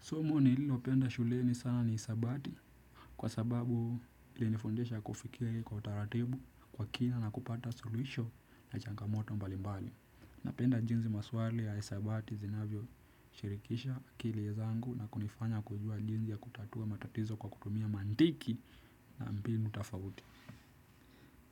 Somo nililopenda shuleni sana ni hisabati kwa sababu ilinifundisha kufikiri kwa utaratibu kwa kina na kupata suluhisho na changa moto mbalimbali. Napenda jinsi maswali ya hisabati zinavyo shirikisha akili ya zangu na kunifanya kujua jinsi ya kutatua matatizo kwa kutumia mantiki na mbinu tofauti.